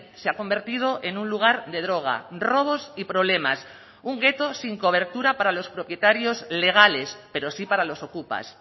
se ha convertido en un lugar de droga robos y problemas un gueto sin cobertura para los propietarios legales pero sí para los ocupas